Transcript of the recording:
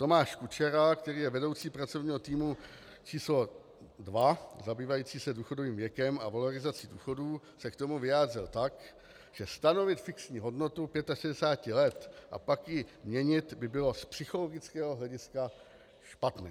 Tomáš Kučera, který je vedoucí pracovního týmu číslo 2, zabývající se důchodovým věkem a valorizací důchodů, se k tomu vyjádřil tak, že stanovit fixní hodnotu 65 let a pak ji měnit by bylo z psychologického hlediska špatné.